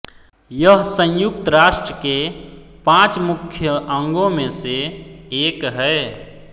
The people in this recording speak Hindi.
यह संयुक्त राष्ट्र के पाँच मुख्य अंगों में से एक है